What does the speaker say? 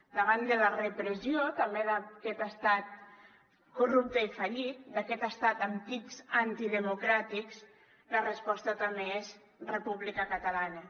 davant de la repressió també d’aquest estat corrupte i fallit d’aquest estat amb tics antidemocràtics la resposta també és república catalana